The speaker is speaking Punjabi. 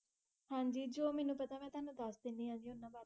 ਹਨ ਜੀ ਜੋ ਮੇਨੂ ਪਤਾ ਮੈਂ ਤਾਵਾਨੁ ਦਸ ਦੇਯ੍ਨ੍ਦੀ ਆ ਗ ਓਨਾ ਬਰੀ